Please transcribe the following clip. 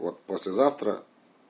вот послезавтра